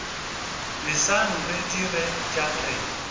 leseng re dire tša rena